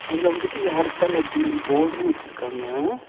அதுல வந்துட்டு ஏர்டெல் அப்படின்னு போர்டும் வெச்சிருக்காங்க.